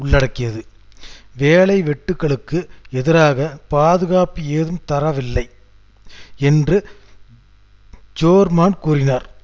திருச்சபையின் வெளிப்படையான ஆதரவாளர் ஆவார்